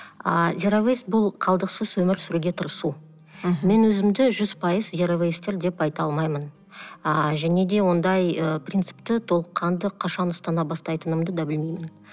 ааа зироуэйс бұл қалдықсыз өмір сүруге тырысу мен өзімді жүз пайыз зироуэйстер деп айта алмаймын ыыы және де ондай ы принципті толыққанды қашан ұстана бастайтынымды да білмеймін